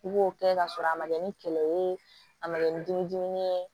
I b'o kɛ ka sɔrɔ a ma kɛ ni kɛlɛ ye a ma kɛ ni dumuni dimi ye